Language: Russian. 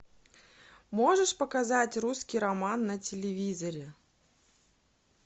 можешь показать русский роман на телевизоре